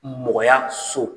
Mɔgɔyaso